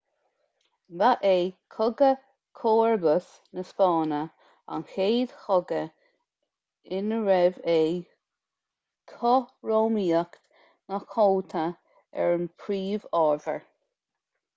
ba é cogadh chomharbas na spáinne an chéad chogadh inarbh é cothromaíocht na cumhachta an phríomhábhar